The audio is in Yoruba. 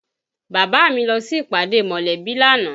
Bàbá mi lọ sí ìpàdé mọ̀lẹ́bí lánàá